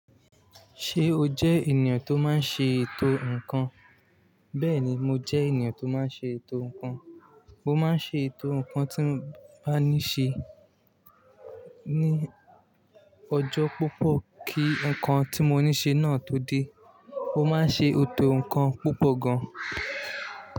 Ṣé o jẹ́ ènìyàn tó máa n ṣe ètò ǹnkan? Bẹ́ẹ̀ ni, mo jẹ́ ènìyàn tó máa n ṣe ètò ǹnkan. Mo máa n ṣe ètò ǹnkan tí mo bá ní ṣe ní ọjọ́ púpọ̀ kí ǹnkan tí mo ní ṣe náà tó dé. Mo máa n ṣe ètò ǹnkan púpọ̀ gan.